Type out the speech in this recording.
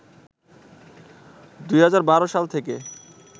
২০১২ সাল থেকে